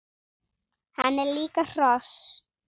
Hann er líka hross!